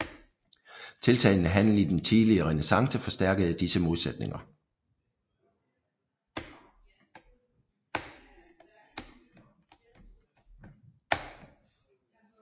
Tiltagende handel i den tidlige renæssance forstærkede disse modsætninger